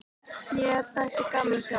Mér þætti gaman að sjá hann.